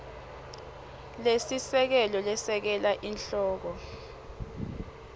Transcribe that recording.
lesisekelo lesekela sihloko